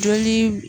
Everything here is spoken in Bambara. Joli